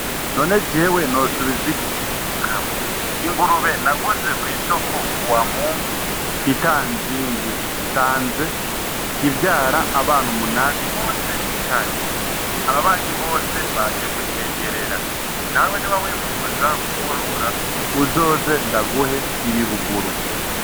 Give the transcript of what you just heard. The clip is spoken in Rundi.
None jewe nosubiza ikiumukama ingurube naguze kw'isoko kuwamungu ita nzimbye sanze ivyara abana umunani bose icarimwo ababanyu bose baje gushengerera nawe ni ba wifuza kworora uzoze ndaguhe ibibugue u.